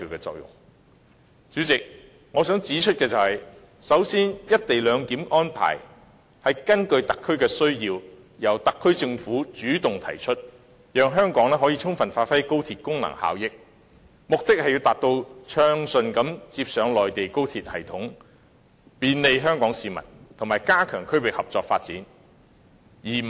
代理主席，首先我想指出，"一地兩檢"的安排是根據特區的需要，由特區政府主動提出，讓香港可以充分發揮高鐵的功能效益，目的是要暢順接駁內地高鐵系統以便利香港市民，以及加強區域合作發展。